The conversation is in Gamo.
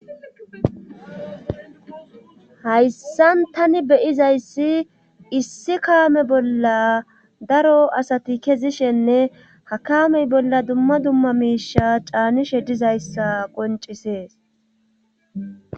hayssan tani beyizayssi issi kaame bolla daro asati kezishenne ha kaamey bolla dumma dumma miisha caanishe dizayssa qoncisees